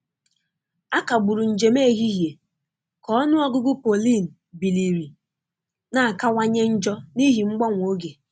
A kagburu njem ehihie ka ọnụ ọgụgụ pollen biliri na-akawanye njọ n'ihi mgbanwe oge.